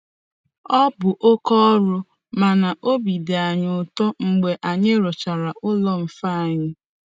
Ọ bụ oke ọrụ, mana obi dị anyị ụtọ mgbe anyị rụchara ụlọ mfe anyị .”